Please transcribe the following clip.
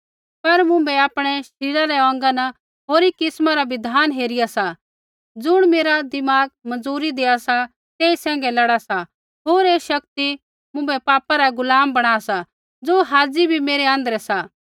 पर मुँभै आपणै शरीरा रै अौंगा न होरी किस्मा रा बिधान हेरिया सा ज़ुण मेरा दिमाग मंजूरी देआ सा तेई सैंघै लड़ा सा होर ऐ शक्ति मुँभै पापा रा गुलाम बणा सा ज़ो हाज़ी बी मेरै आँध्रै सा